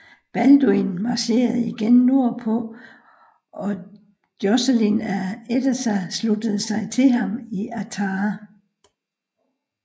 Balduin marcherede igen nordpå og Joscelin af Edessa sluttede sig til ham i Artah